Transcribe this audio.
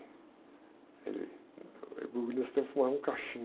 Ele, sempre fumava um cachimbo.